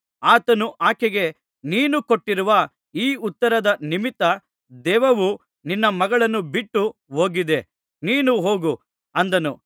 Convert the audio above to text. ಆತನು ಆಕೆಗೆ ನೀನು ಕೊಟ್ಟಿರುವ ಈ ಉತ್ತರದ ನಿಮಿತ್ತ ದೆವ್ವವು ನಿನ್ನ ಮಗಳನ್ನು ಬಿಟ್ಟು ಹೋಗಿದೆ ನೀನು ಹೋಗು ಅಂದನು